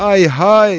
Ay-hay!